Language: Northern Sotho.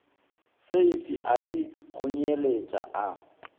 seifi a di kgonyeletša a